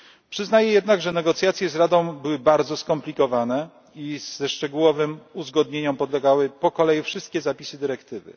Przyznaję jednak, że negocjacje z Radą były bardzo skomplikowane i że szczegółowym uzgodnieniom podlegały po kolei wszystkie zapisy dyrektywy.